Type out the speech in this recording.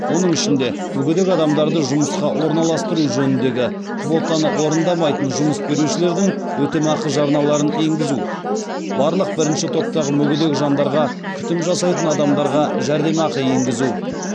оның ішінде мүгедек адамдарды жұмысқа орналастыру жөніндегі квотаны орындамайтын жұмыс берушілердің өтемақы жарналарын енгізу барлық бірінші топтағы мүгедек жандарға күтім жасайтын адамдарға жәрдемақы енгізу